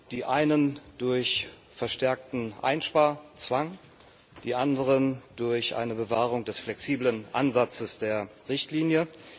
Die einen durch verstärkten Einsparzwang, die anderen durch eine Bewahrung des flexiblen Ansatzes der Richtlinie.